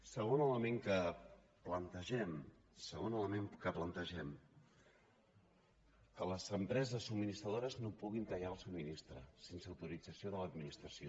segon element que plantegem que les empreses subministradores no puguin tallar el subministrament sense autorització de l’administració